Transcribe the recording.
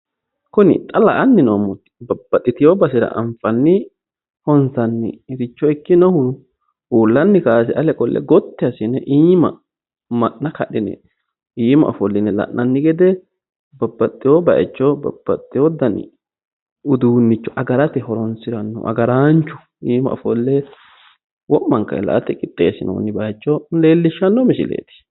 Kuni xa la'anni noommohu babbaxxeewo baaycho anfanni honsanniricho ikkinohu uullanni kaayise ale qolle gotti assine iima ma'na kadhine iima ofolline la'nanni gede babbaxxeewo baaycho agarate horoonsi'noonni agaraachu iima ofolle wo'mankare agarate qixxeessinoonni misile leellishshanno misileeti.